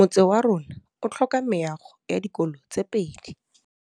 Motse warona o tlhoka meago ya dikolô tse pedi.